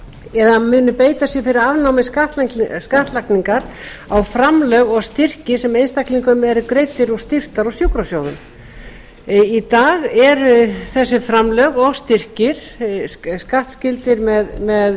eða muni beita sér fyrir afnámi skattlagningar á framlög og styrki sem einstaklingum eru greiddir úr styrktar og sjúkrasjóðum í dag eru þessi framlög og styrkir skattskyldir með